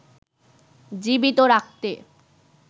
জীবিত রাখতে